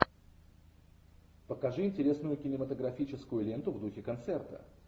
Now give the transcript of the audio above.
покажи интересную кинематографическую ленту в духе концерта